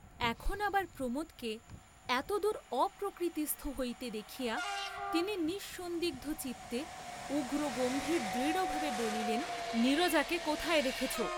এখন আবার প্রমোদকে এতদূর অপ্রকৃতিস্থ হইতে দেখিয়া তিনি নিঃসন্দিগ্ধচিত্তে, উগ্রগম্ভীর দৃঢ়ভাবে বলিলেন নীরজাকে কোথায় রেখেছ?